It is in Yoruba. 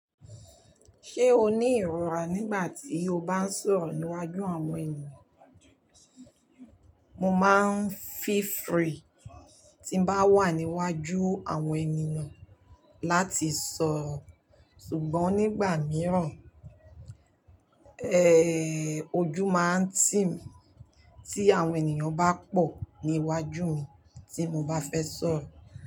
Ṣé o ní ìrora nígbà tí o bá ń sọ̀rọ̀ níwájú àwọn ènìyàn? Mo máa ń feel free tí ń bá wà níwájú àwọn ènìyàn láti sọ̀rọ̀. Ṣùgbọ́n nígbà mìíràn, ojú máa ń tì mí tí àwọn ènìyàn bá pọ̀ níwájú mi tí mo bá fẹ́ sọ̀rọ̀.